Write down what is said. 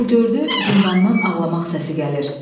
O gördü zindandan ağlamaq səsi gəlir.